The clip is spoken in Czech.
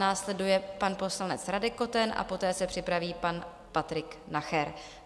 Následuje pan poslanec Radek Koten a poté se připraví pan Patrik Nacher.